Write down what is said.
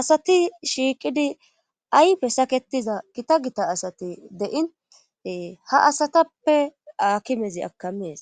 asati shiiqidi aype saketiza gita gita asati de'in ha asatappe aakimezi akamees